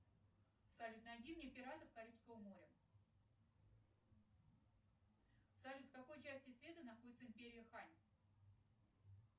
салют найди мне пиратов карибского моря салют в какой части света находится империя хань